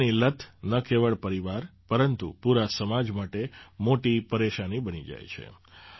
નશાની લત ન કેવળ પરિવાર પરંતુ પૂરા સમાજ માટે મોટી પરેશાની બની જાય છે